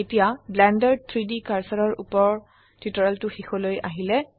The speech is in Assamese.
এতিয়া ব্লেন্ডাৰ 3ডি কাৰ্সাৰৰ উপৰ টিউটোৰিয়েলটো শেষলৈ আহিলে